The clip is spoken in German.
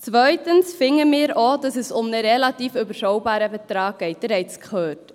Zweitens finden wir auch, dass es um einen relativ überschaubaren Betrag geht, Sie haben es gehört.